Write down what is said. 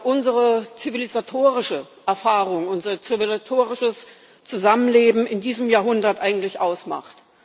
unsere zivilisatorische Erfahrung, unser zivilisatorisches Zusammenleben in diesem Jahrhundert eigentlich ausmacht.